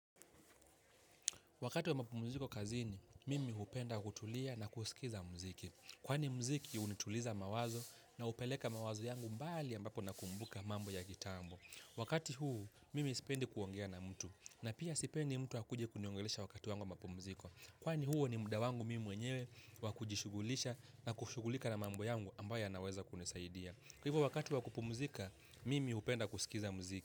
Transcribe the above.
Wakati wa mapumziko kazini mimi hupenda kutulia na kusikiza mziki. Kwani mziki hunituliza mawazo na hupeleka mawazo yangu mbali ambapo nakumbuka mambo ya kitambo. Wakati huu, mimi sipendi kuongea na mtu. Na pia sipendi mtu wa kuja kuniongelesha wakati wangu wa mapumziko. Kwani huo ni muda wangu mimi mwenyewe wakujishugulisha na kushugulika na mambo yangu ambayo ya naweza kunisaidia. Kwa hivyo wakati wa kupumzika, mimi hupenda kusikiza mziki.